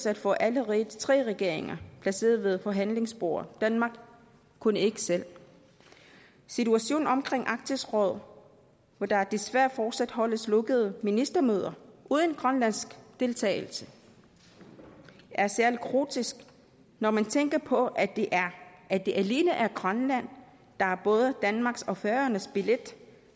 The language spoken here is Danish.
at få alle tre regeringer placeret ved forhandlingsbordet danmark kunne ikke selv situationen omkring arktisk råd hvor der desværre fortsat holdes lukkede ministermøder uden grønlandsk deltagelse er særlig grotesk når man tænker på at det at det alene er grønland der er både danmarks og færøernes billet